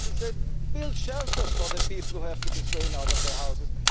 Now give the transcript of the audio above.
He said build shelters for the people who have to be thrown out of their houses.